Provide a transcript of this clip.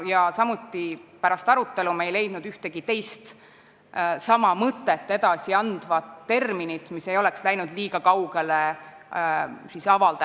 Me ei leidnud arutelu käigus ühtegi teist sama mõtet edasi andvat terminit, mis ei oleks avaldajate tahtest liiga kaugele läinud.